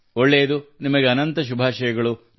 ಒಳ್ಳೆಯದು ನಿಮಗೆ ಅನಂತ ಶುಭಾಷಯಗಳು